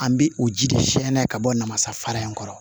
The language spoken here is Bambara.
An bɛ o ji de fiɲɛ n'a ka bɔ namasafara in kɔrɔ